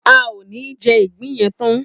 A ò ní je̩ ìgbín ye̩n tan